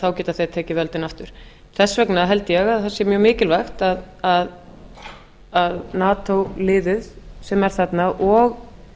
þá geti þeir tekið völdin aftur þess vegna held ég að það sé mjög mikilvægt að nato liðið sem er þarna og